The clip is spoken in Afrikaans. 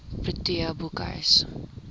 protea boekhuis